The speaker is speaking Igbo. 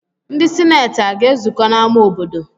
Ndị sineeti aga-ezukọ n'ámá obodo?